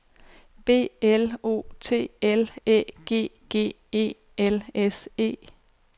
B L O T L Æ G G E L S E